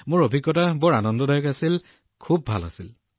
মোৰ অভিজ্ঞতা অতি উপভোগ্য খুব ভাল আছিল